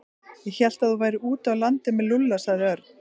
Ég hélt að þú værir úti á landi með Lúlla sagði Örn.